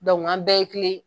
an bɛɛ ye kile ye.